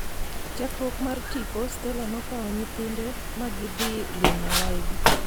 Chakruok mar tipo, Stella nokawo nyithinde ma gidhi limo waygi.